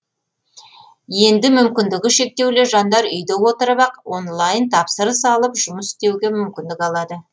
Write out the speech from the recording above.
енді мүмкіндігі шектеулі жандар үйде отырып ақ онлайн тапсырыс алып жұмыс істеуге мүмкіндік алады